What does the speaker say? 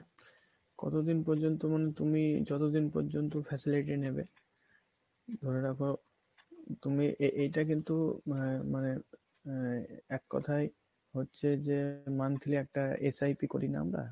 কতদিন পর্যন্ত মানে তুমি যতদিন পর্যন্ত facility নেবে ধরে রাখো তুমি এ~ এইটা কিন্তু আহ মানে আহ এক কথায় হচ্ছে যে monthly একটা SIP করি না আমরা?